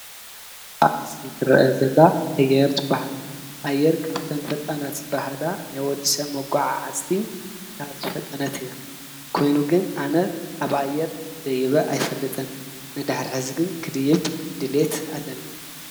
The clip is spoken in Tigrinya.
ኣብ ምስ ሊትረአ ዘላ ኣየርት በሃል ኣየር ካብተም ፈጠናት በሃላ ናይወድሰ መጐዓ ዓስቲ እታ ዘፈጠነት እያ ኮይኑ ግን ኣነት ኣብኣየር ደይበ ኣይፈልጥን ንድኅሪሕዝግን ክድይብ ድልየት ኣለኒ።